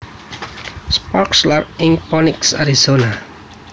Sparks lair ing Phoenix Arizona